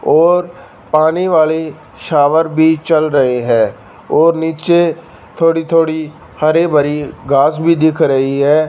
और पानी वाले शॉवर भी चल रहे हैं और नीचे थोड़ी थोड़ी हरे भरी घास भी दिख रही है।